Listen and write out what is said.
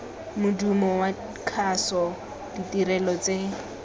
modumo wa kgaso ditirelo tse